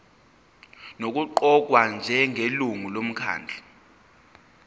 nokuqokwa njengelungu lomkhandlu